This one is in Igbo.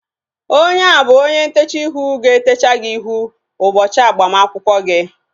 Onye a bụ onye ntechaa ihu ga-etecha ihu gị ụbọchị agbamakwụkwọ gị